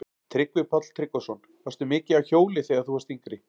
Tryggvi Páll Tryggvason: Varstu mikið á hjóli þegar þú varst yngri?